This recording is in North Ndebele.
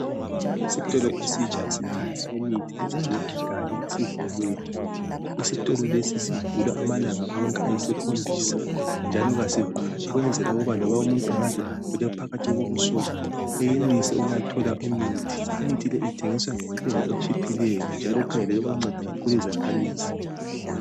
Kulesitolo esitsha esithengisa imithi duze leKigali esivuliweyo. Isitolo lesi sivula amalanga onke ayisikhombisa njalo kasivalwa ukwenzela ukuba loba umuntu angaze agule phakathi kobusuku, enelise ukuyathola imithi. Imithi le ithengiswa ngentengo etshiphileyo, njalo kukhangelelwe ukunceda kakhulu izakhamizi.